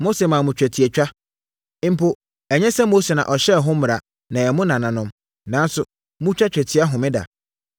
Mose maa mo twetiatwa (mpo ɛnyɛ sɛ Mose na ɔhyɛɛ ho mmara na ɛyɛ mo nananom) nanso, motwa twetia homeda.